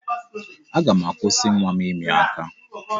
Aga m akwụsị nwa m ịmị aka.